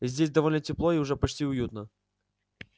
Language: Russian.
здесь довольно тепло и уже почти уютно